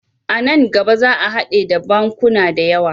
A nan gaba za a hade da bankuna da yawa.